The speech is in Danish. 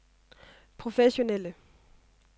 professionelle